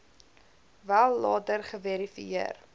wel later geverifieer